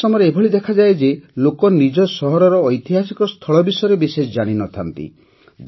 ଅନେକ ସମୟରେ ଏଭଳି ଦେଖାଯାଏ ଯେ ଲୋକ ନିଜ ସହରର ଐତିହାସିକ ସ୍ଥଳ ବିଷୟରେ ବିଶେଷ ଜାଣିନଥାନ୍ତି